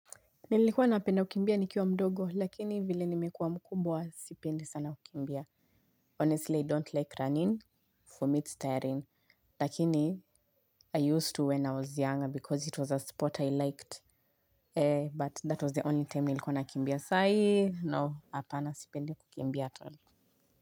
Nilikuwa napenda kukimbia nikiwa mdogo, lakini vile nimekuwa mkumbwa sipendi sana kukimbia. Honestly, I don't like running for me it's tiring. Lakini i used to when i was young because it was a sport i liked but that was the only time nilikuwa nakambia sai no apana sipendi kukimbia tena.